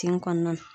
Tin kɔnɔna na